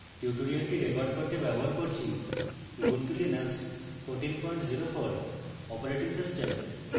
tutorial record করতে ব্যবহার করছি: উবুন্টু লিনাক্স 1404 অপারেটিং সিস্টেম